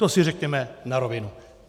To si řekněme na rovinu.